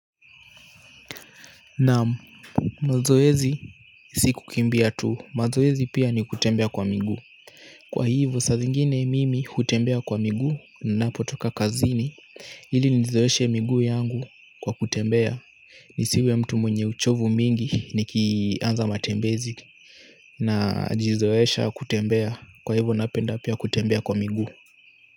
Naam mazoezi si kukimbia tu mazoezi pia ni kutembea kwa miguu kwa hivo saa zingine mimi hutembea kwa miguu ninapotoka kazini ili nizoeshe miguu yangu kwa kutembea nisiwe mtu mwenye uchovu mingi nikianza matembezi. Najizoesha kutembea kwa hivo napenda pia kutembea kwa miguu.